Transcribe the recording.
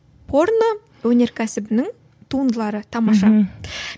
порно өнеркәсібінің туындылары тамаша